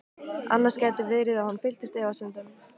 Annars gæti verið að hún fylltist efasemdum.